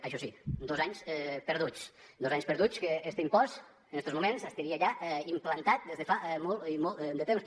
això sí dos anys perduts dos anys perduts que este impost en estos moments estaria ja implantat des de fa molt i molt de temps